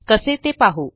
कसे ते पाहू